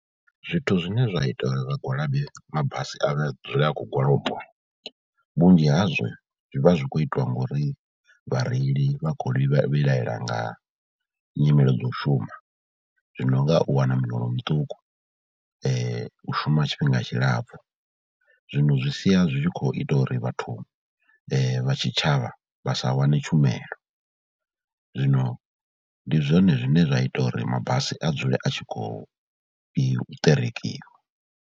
Zwithu zwine zwa ita uri vhagwalabi mabasi a vhe a dzule a khou gwalabiwa, vhunzhi hazwo zwi vha zwi khou itiwa ngauri vhareili vha khou vhilahela nga nyimele dzo u shuma. Zwino nga u wana miholo muṱuku, u shuma tshifhinga tshilapfhu, zwino zwi sia zwi tshi khou ita uri vhathu vha tshitshavha vha sa wane tshumelo, zwino ndi zwone zwine zwa ita uri mabasi a dzule a tshi khou ṱerekiwa.